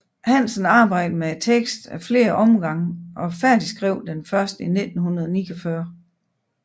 Hansen arbejdede med teksten ad flere omgange og færdigskrev den først i 1949